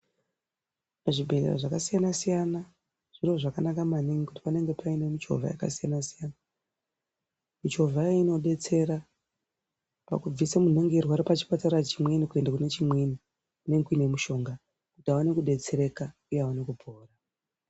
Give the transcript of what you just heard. Pazvibhendlera zvakasiyana siyana zviro zvakanaka maningi kuti panenge paane michovha yakasiyana siyana. Michovha iyi inodetsera pakubvisa muntu pachipatara chimweni kuenda kune chimweni kunenge kune mishonga. Kuti aone kudetsereka uye aone kupora.